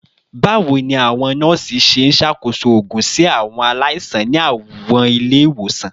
Bawo ni awọn nọọsi ṣe nṣakoso oogun si awọn alaisan ni awọn ile-iwosan?